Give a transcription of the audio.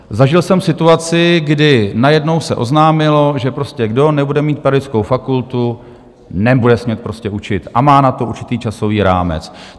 Zažil jsem situaci, kdy najednou se oznámilo, že prostě kdo nebude mít pedagogickou fakultu, nebude smět prostě učit a má na to určitý časový rámec.